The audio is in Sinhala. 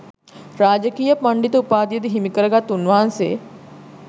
රාජකීය පණ්ඩිත උපාධියද හිමිකර ගත් උන්වහන්සේ